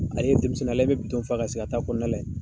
Ale ye denmisɛnnin ye ale bɛ fa ka sigi a ta kɔnɔna la yen.